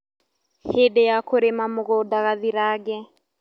Hĩndĩ ya kũrĩma mũgũnda gathirange